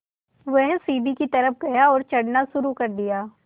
वह सीढ़ी की तरफ़ गया और चढ़ना शुरू कर दिया